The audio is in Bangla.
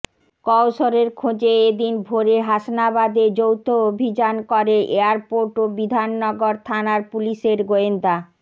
কওসরের খোঁজে এ দিন ভোরে হাসনাবাদে যৌথ অভিযান করে এয়ারপোর্ট ও বিধাননগর থানার পুলিশের গোয়েন্দা